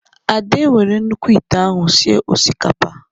Ade were nnukwu ịte ahụ sịe osikapa